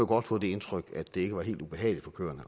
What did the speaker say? godt få det indtryk at det ikke var helt ubehageligt for køerne